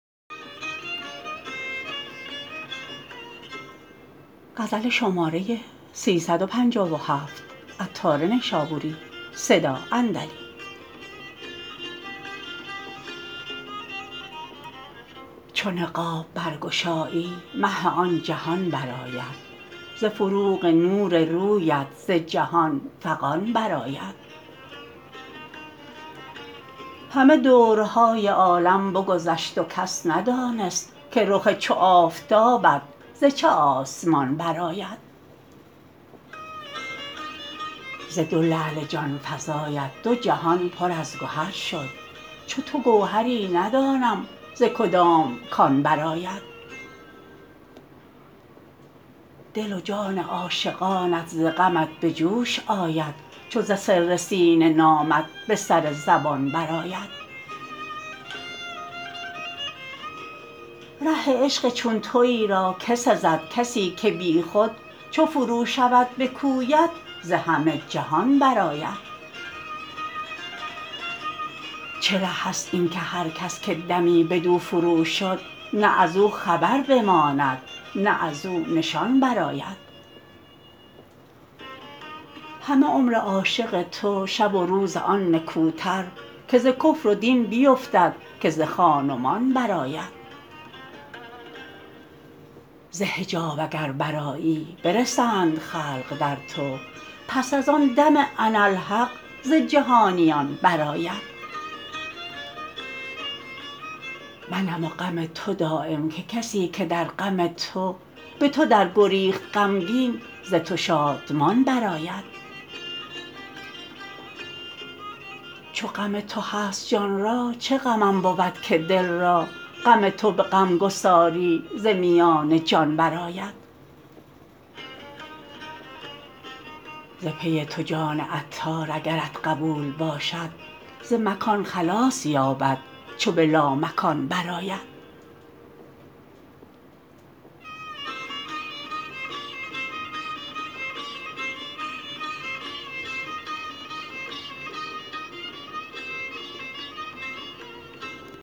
چو نقاب برگشایی مه آن جهان برآید ز فروغ نور رویت ز جهان فغان برآید همه دورهای عالم بگذشت و کس ندانست که رخ چو آفتابت ز چه آسمان برآید ز دو لعل جان فزایت دو جهان پر از گهر شد چو تو گوهری ندانم ز کدام کان برآید دل و جان عاشقانت ز غمت به جوش آید چو ز سر سینه نامت به سر زبان برآید ره عشق چون تویی را که سزد کسی که بیخود چو فرو شود به کویت ز همه جهان برآید چه ره است این که هرکس که دمی بدو فروشد نه ازو خبر بماند نه ازو نشان برآید همه عمر عاشق تو شب و روز آن نکوتر که ز کفر و دین بیفتد که ز خان و مان برآید ز حجاب اگر برآیی برسند خلق در تو پس از آن دم اناالحق ز جهانیان برآید منم و غم تو دایم که کسی که در غم تو به تو در گریخت غمگین ز تو شادمان برآید چو غم تو هست جانا چه غمم بود که دل را غم تو به غمگساری ز میان جان برآید ز پی تو جان عطار اگرش قبول باشد ز مکان خلاص یابد چو به لامکان برآید